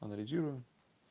анализирую